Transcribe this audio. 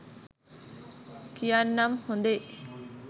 කියන්නම් හොදේ